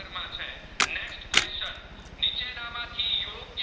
ના માં થી યોગ